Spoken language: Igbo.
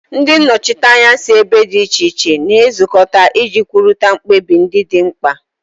Ndị nnọchiteanya si ebe dị iche iche na-ezukọta iji kwurịta mkpebi ndị dị mkpa